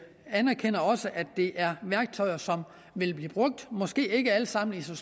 anerkender også at det er værktøjer som vil blive brugt måske ikke alle sammen i så